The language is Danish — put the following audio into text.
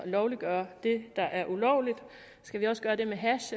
lovliggøre det der er ulovligt skal vi også gøre det med hash